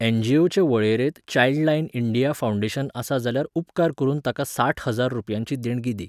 एन.जी.ओं.चे वळेरेंत Childline India foundation आसा जाल्यार उपकार करून ताका साठ हजार रुपयांची देणगी दी.